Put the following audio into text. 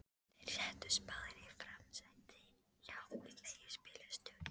Þeir settust báðir í framsætið hjá leigubílstjóranum.